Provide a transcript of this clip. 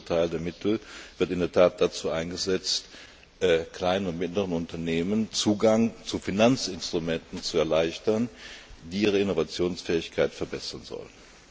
Der größte Teil der Mittel wird in der Tat dazu eingesetzt, kleinen und mittleren Unternehmen den Zugang zu Finanzinstrumenten zu erleichtern, die ihre Innovationsfähigkeit verbessern sollen.